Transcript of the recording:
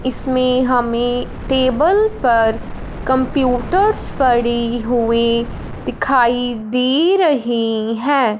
इसमें हमें टेबल पर कंप्यूटर्स पड़े हुए दिखाई दे रहे हैं।